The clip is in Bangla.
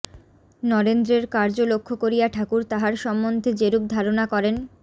নরেন্দ্রের কার্য লক্ষ্য করিয়া ঠাকুর তাঁহার সম্বন্ধে যেরূপ ধারণা করেন